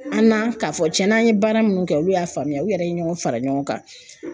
An kan k'a fɔ cɛn na, an ye baara minnu kɛ, olu y'a faamuya, u yɛrɛ ye ɲɔgɔn fara ɲɔgɔn kan.